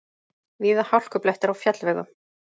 Víða hálkublettir á fjallvegum